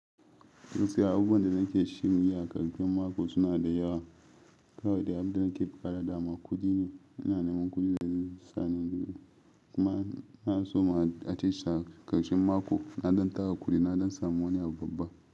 Wasu abubuwan da nake shirye a ƙarshen mako suna da yawa. Kawai dai abin da nake buƙata da ma kudi ne. Ina neman kudi da zai sani, kuma na so ma a ce ƙarshen mako na don tara kudi na don samu wani abu babba.